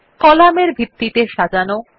column এর ভিত্তিতে সাজানো